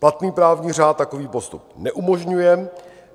Platný právní řád takový postup neumožňuje.